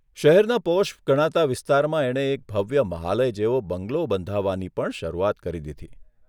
શહેરના પોશ ગણાતા વિસ્તારમાં એણે એક ભવ્ય મહાલય જેવો બંગલો બંધાવવાની પણ શરૂઆત કરી દીધી.